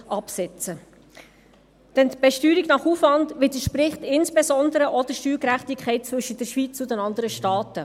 Denn die Besteuerung nach Aufwand widerspricht insbesondere auch der Steuergerechtigkeit zwischen der Schweiz und den anderen Staaten.